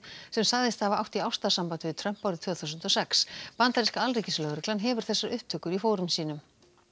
sem sagðist hafa átt í ástarsambandi við Trump árið tvö þúsund og sex bandaríska alríkislögreglan hefur þessar upptökur í fórum sínum